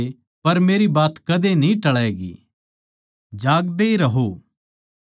धरती अर अकास टळ जावैंगे पर मेरी बात कदे न्ही टळैगी